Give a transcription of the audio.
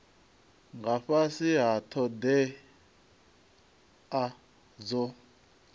nga fhasi ha thodea dzo